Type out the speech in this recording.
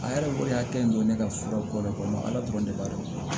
A yɛrɛ ko ne hakili don ne ka fura ko de kɔnɔ ala dɔrɔn ne b'a dɔn